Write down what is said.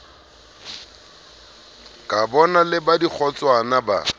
kabona le ba dikgotswana ba